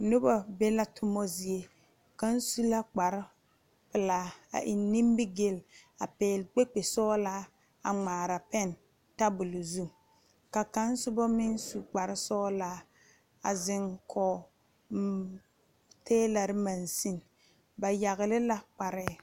Noba be la tuma zie kaŋa soba su la kpare pelaa a e nimigele a pegle kpekpe sɔglaa a ŋmaare pene tabol zu ka kaŋ soba meŋ su kpare sɔglaa a zeŋ kɔŋ tielɛre magsine ba yagle la kparre.